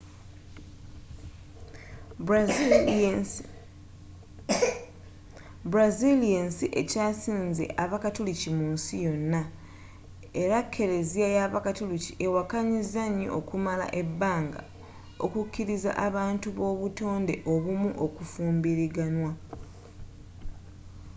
brazil yensi ekyasinze abakatuliki mu nsi yona era keleziya y'abakatuliki ewakanyiza nyo okumala ebbanga okukiliza abantu b'obutonde obumu okufumbiraganwa